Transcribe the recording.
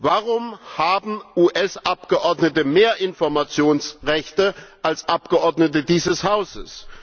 Warum haben US Abgeordnete mehr Informationsrechte als Abgeordnete dieses Hauses?